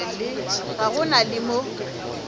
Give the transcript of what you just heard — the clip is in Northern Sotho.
ga go na le mo